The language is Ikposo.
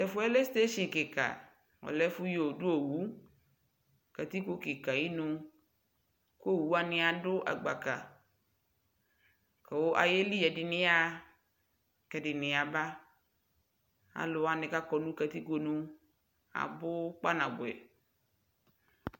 tɛƒʋɛ lɛ station kikaa, ɔlɛ ɛƒʋ dʋ ɔwʋ katikpɔ kikaa ayinʋ kʋ ɔwʋ wani adʋ agbaka kʋ ayɛli ɛdini yaha kʋ ɛdini yaba, alʋ wani kʋ akɔ nʋ katikpɔ nʋ abʋ kpa nabʋɛ